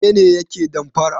Wane ne yake damfara?